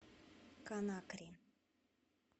конакри